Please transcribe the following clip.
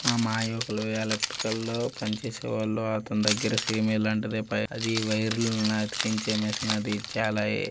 మా మాయ ఒక్కళ్ళు ఎలక్ట్రికల్ లో పని చేసేవాళ్లు అతని దగ్గర సే్ ఇలాంటిదే అది వైర్లు ని అతికించే మిషనరీ